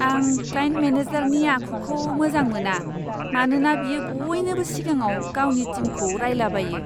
आं क्लाइन्ट मेनेजारनि आखुखौ मोजां मोना, मानोना बियो बयनिबो सिगाङाव गावनि टिमखौ रायलाबायो!